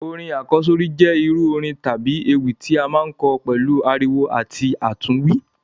Orin àkọ́sórí jẹ irú orin tábi ewì ti a maa n kọ pẹ̀lu ariwo àti àtúnwí.